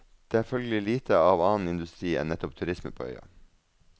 Det er følgelig lite av annen industri enn nettopp turisme på øya.